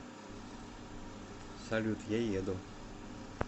салют я еду